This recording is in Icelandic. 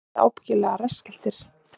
Þið verðið ábyggilega rassskelltir